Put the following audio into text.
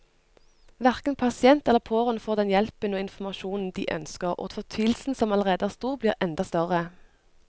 Hverken pasient eller pårørende får den hjelpen og informasjonen de ønsker, og fortvilelsen som allerede er stor, blir enda større.